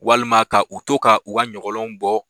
Walima ka u to ka u ka ɲɔgɔlɔnw bɔ